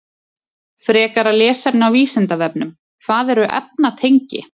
Frekara lesefni á Vísindavefnum: Hvað eru efnatengi?